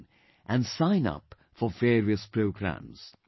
in and sign up for various programs